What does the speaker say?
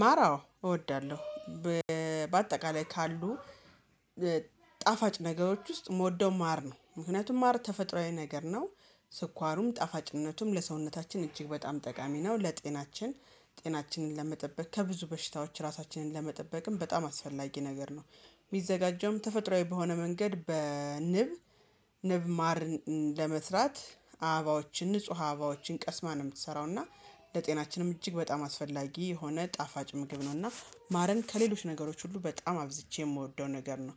ማራው እወዳለሁ በአጠቃላይ ካሉ ጣፋጭ ነገሮች ውስጥ የምወደው ማር ነው። ምክንያቱም ማር ተፈጥሮአዊ ነገር ነው። ስኳሩም ጣፋጭነቱም ለሰውነታችን እጅግ በጣም ጠቃሚ ነው። ለጤናችን ጤናችንን ለመጠበቅ ከብዙ በሽታዎች ራሳችንን ለመጠበቅም በጣም አስፈላጊ ነገር ነው። የሚዘጋጀውም ተፈጥሯዊ በሆነ መንገድ በንብ ንብ ማር ለመስራት አበባዎችን ንጹህ አባዎችን ቀስማ ነው የምትሰራው። እና ለጤናችንም እጅግ በጣም አስፈላጊ የሆነ ጣፋጭ ምግብ ነው። እና ማርን ከሌሎች ነገሮች ሁሉ በጣም አብዝቼ የምወደው ነገር ነው።